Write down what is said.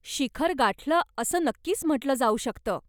शिखर गाठलं असं नक्कीच म्हटलं जाऊ शकतं.